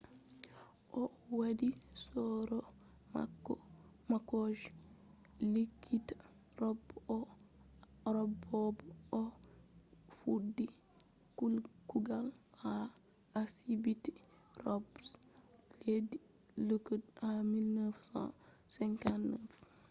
o wadi soro mako je likita robe bo o fuddi kugal ha asibiti robe je leddi auckland ha 1959